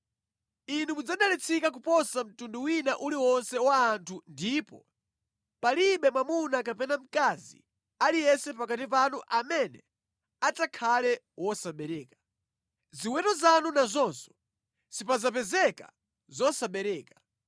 Inu mudzadalitsika kuposa mtundu wina uliwonse wa anthu ndipo palibe mwamuna kapena mkazi aliyense pakati panu amene adzakhale wosabereka. Ziweto zanu nazonso, sipadzapezeka zosabereka.